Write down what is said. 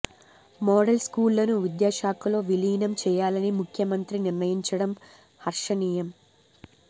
model స్కూళ్లను విద్యాశాఖలో విలీనం చేయాలని ముఖ్య మంత్రి నిర్ణయించడం హర్షణీయం